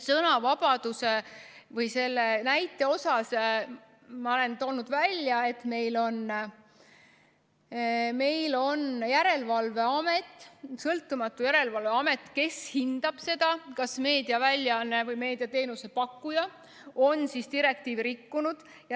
Sõnavabaduse või selle näite kohta ma olen toonud välja selle, et meil on sõltumatu järelevalveamet, kes hindab seda, kas meediaväljaanne või meediateenuse pakkuja on direktiivi rikkunud.